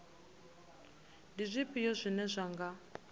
ndi zwifhio zwine zwa nga